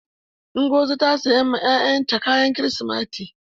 Nzogi ta sayan ma ƴaƴan ta kayan kirisimeti.